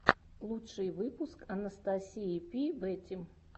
лучший выпуск анастасии пи бэтим